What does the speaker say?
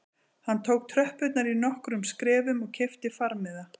Hann tók tröppurnar í nokkrum skrefum og keypti farmiða